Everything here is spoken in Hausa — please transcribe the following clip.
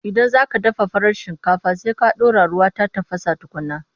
Idan za ka dafa farar shinkafa, sai ka ɗora ruwa ya tafasa tukunna.